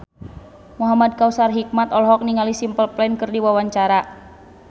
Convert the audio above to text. Muhamad Kautsar Hikmat olohok ningali Simple Plan keur diwawancara